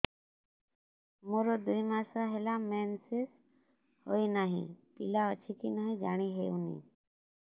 ମୋର ଦୁଇ ମାସ ହେଲା ମେନ୍ସେସ ହୋଇ ନାହିଁ ପିଲା ଅଛି କି ନାହିଁ ଜାଣି ହେଉନି